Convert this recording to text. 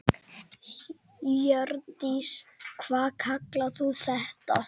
Hjördís: Hvað kallar þú þetta?